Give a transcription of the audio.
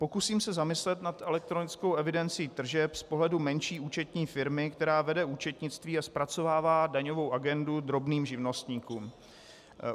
Pokusím se zamyslet nad elektronickou evidencí tržeb z pohledu menší účetní firmy, která vede účetnictví a zpracovává daňovou agendu drobným živnostníkům.